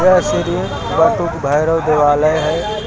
ये श्री बटुक भैरव देवालय है।